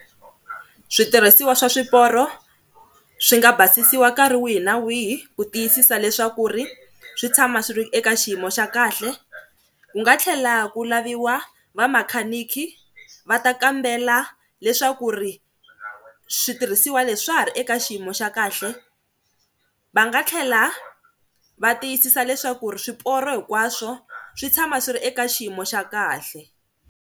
Switirhisiwa swa swiporo swi nga basisiwa nkarhi wihi na wihi ku tiyisisa leswaku ri swi tshama swi ri eka xiyimo xa kahle, ku nga tlhela ku laviwa vamakhaniki va ta kambela leswaku ri switirhisiwa leswi swa ha ri eka xiyimo xa kahle. Va nga tlhela va tiyisisa leswaku ri swiporo hinkwaswo swi tshama swi ri eka xiyimo xa kahle.